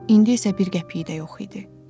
İndi isə bir qəpiyi də yox idi.